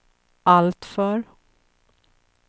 alltför